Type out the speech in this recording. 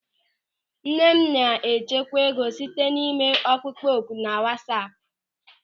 Nne m na-echekwa ego site n'ime ọkpụkpọ oku na wasaapu.